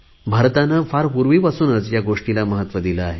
भारताने फार पुर्वीपासून ह्या गोष्टीला महत्त्व दिले आहे